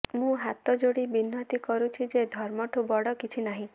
ମୁଁ ହାତ ଯୋଡ଼ି ବିନତୀ କରୁଛି ଯେ ଧର୍ମ ଠୁ ବଡ଼ କିଛି ନାହିଁ